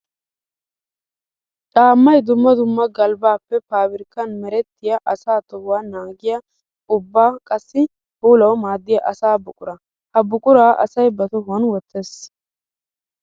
Caamay dumma dumma galbappe paabirkkan merettiya asaa tohuwa naagiya ubba qassikka puulawu maadiya asaa buqura. Ha buqura asay ba tohuwan wottes.